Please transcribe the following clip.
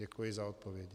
Děkuji za odpověď.